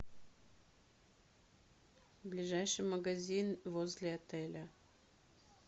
ближайший магазин возле отеля